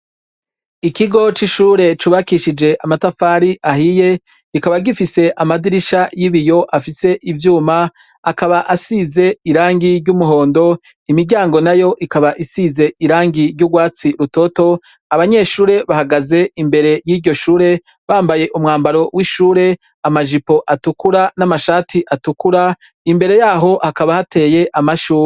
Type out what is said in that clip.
Ikigo c'ishure cubakishije amatafari ahiye kikaba gifise amadirisha y'ibiyo afise ivyuma akaba asize irangi ry'umuhondo imiryango nayo ikaba isize irangi ry'ugwatsi rutoto abanyeshure bahagaze imbere yiryoshure bambaye umwambaro w'ishure amajipo atukura namashati atukura imbere yaho hakaba hateye amashugwe.